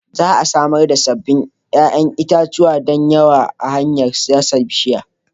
Za a samar da sabbin 'ƴa'ƴan itace da yawa ta hanyar dasa bishiyar.